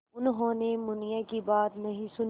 उन्होंने मुनिया की बात नहीं सुनी